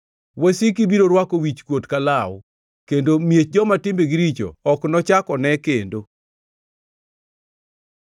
Wasiki biro rwako wichkuot ka law, kendo miech joma timbegi richo ok nochak one kendo.”